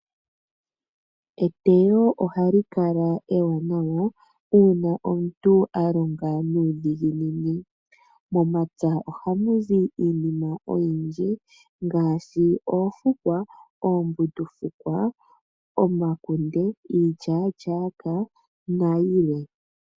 Eteyo ohali kala ewanawa uuna omuntu a longa nuudhiginini. Momapya ohamu zi iinima oyindji ngaashi oofukwa, oombundufukwa, omakunde, iilyaalyaaka nayilwe.